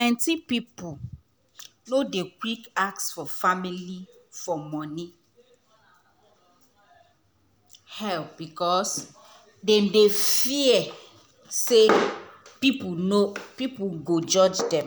plenty people no dey quick ask for family for money help because dem dey fear say people go judge dem.